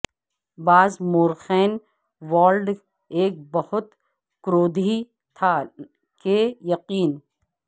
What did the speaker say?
بعض مورخین والڈ ایک بہت کرودھی تھا کہ یقین